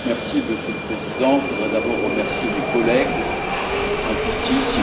Monsieur le Président, je voudrais d'abord remercier mes collègues qui sont présents.